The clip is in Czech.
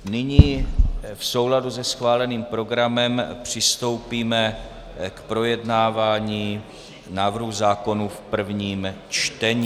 Nyní v souladu se schváleným programem přistoupíme k projednávání návrhu zákonů v prvním čtení.